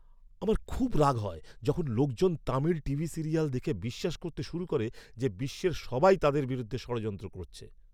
আমার খুব রাগ হয় যখন লোকজন তামিল টিভি সিরিয়াল দেখে বিশ্বাস করতে শুরু করে যে বিশ্বের সবাই তাদের বিরুদ্ধে ষড়যন্ত্র করছে।